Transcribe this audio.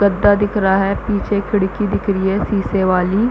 गद्दा दिख रहा है पीछे खिड़की दिख रही है शीशे वाली--